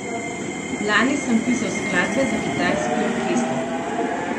Lani sem pisal skladbe za kitajski orkester.